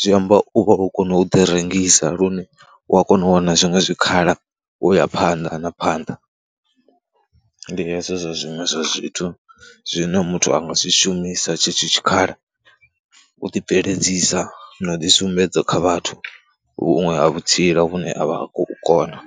zwi amba u vha u kona u ḓirengisa lune u a kona u wana zwiṅwe zwikhala u ya phanḓa na phanḓa. Ndi hezwo zwa zwiṅwe zwa zwithu zwine muthu a nga zwi shumisa tshetsho tshikhala, u ḓibveledzisa na u ḓisumbedza kha vhathu huṅwe ha vhutsila vhune a vha a khou kona.